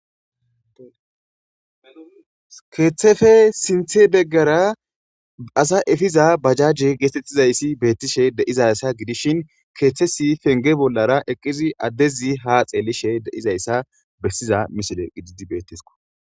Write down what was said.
keeththefe sinthe beggara asa efiza bajajje geetettizayssi beettishe deizassa gidishin keeththesi fenge bollara eqqizi addezi ha xeelishe deizayssa bessiza misile gididi bettesko